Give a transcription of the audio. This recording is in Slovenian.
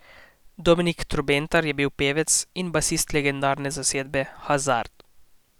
Dominik Trobentar je bil pevec in basist legendarne zasedbe Hazard.